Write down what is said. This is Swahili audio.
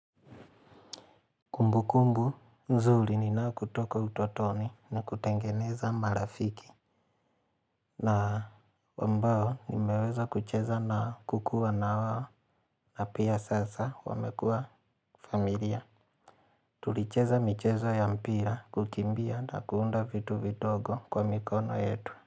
Kumbu kumbu, nzuri ninao kutoka utotoni na kutengeneza marafiki. Na wambao nimeweza kucheza na kukua na wawo na pia sasa wamekua familia. Tulicheza michezo ya mpira kukimbia na kuunda vitu vitogo kwa mikono yetu.